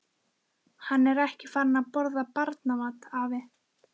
Hann er ekki farinn að borða barnamat, afi.